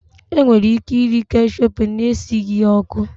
E nwere ike iri keshepu na-esighi ya ọkụ